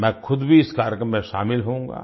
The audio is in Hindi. मैं खुद भी इस कार्यक्रम में शामिल होऊंगा